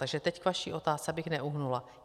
Takže teď k vaší otázce, abych neuhnula.